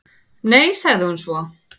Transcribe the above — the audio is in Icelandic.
"""Nei, sagði hún svo."""